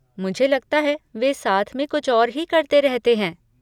मुझे लगता है वे साथ में कुछ और ही करते रहते हैं।